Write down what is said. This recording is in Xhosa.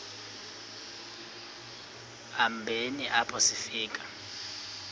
hambeni apho sifika